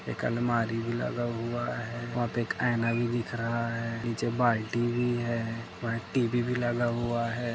एक अलमारी लगा हुआ हैं वहाँ पे एक आइना भी दिख रहा हैं निचे बालटी भी है और टीवी भी लगा हुआ है।